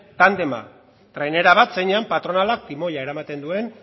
tandema trainera bat zeinean patronalak timoia eramaten duen